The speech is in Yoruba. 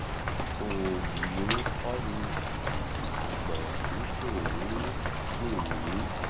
òòyì ń kọ́ mi àgbọ̀n mi um sì ń dùn mí